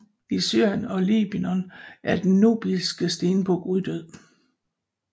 I Syrien og Libanon er den nubiske stenbuk uddød